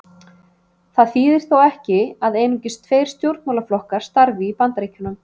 Það þýðir þó ekki að einungis tveir stjórnmálaflokkar starfi í Bandaríkjunum.